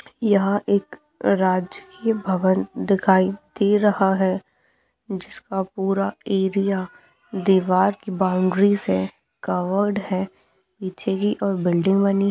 यहाँ एक राजकीय भवन दिखाई दे रहा है जिसका पूरा एरिया दीवार की बाउंड्री से कवर्ड है नीचे की और बिल्डिंग बनी --